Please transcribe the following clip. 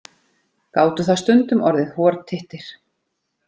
Gátu það stundum orðið hortittir.